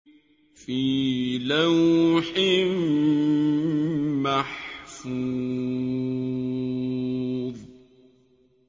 فِي لَوْحٍ مَّحْفُوظٍ